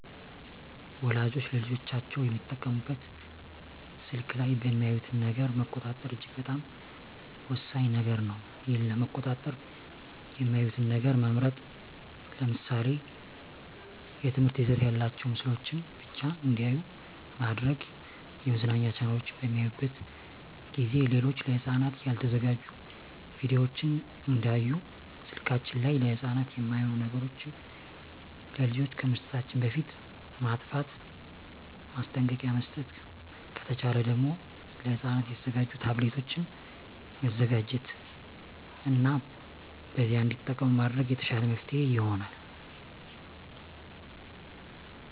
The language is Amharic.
ወላጆች ለልጆቻቸው የሚጠቀሙበት ስልክ ላይ የሚያዩትን ነገር መቆጣጠር እጅግ በጣም ወሳኝ ነገር ነው ይህን ለመቆጣጠር የሚያዩትን ነገር መምረጥ ለምሳሌ የትምህርት ይዘት ያላቸውን ምስሎችን ብቻ እንዲያዩ ማድረግ የመዝናኛ ቻናሎችን በሚያዩበት ጊዜ ሌሎች ለህፃናት ያልተዘጋጁ ቪዲዮወችን እንዳያዩ ስልከችን ላይ ለህፃናት የማይሆኑ ነገሮች ለልጆች ከመስጠታችን በፊት ማጥፍት ማስጠንቀቂያ መስጠት ከተቻለ ደግም ለህፃናት የተዘጋጁ ታብሌቶችን መዘጋጀት እና በዚያ እንዲጠቀሙ ማድረግ የተሻለ መፍትሔ ይሆናል።